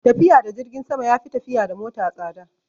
Tafiya da jirgin sama ya fi tafiya da mota tsada